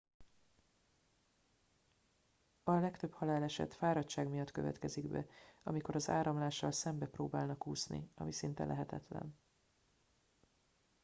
a legtöbb haláleset fáradtság miatt következik be amikor az áramlással szembe próbálnak úszni ami szinte lehetetlen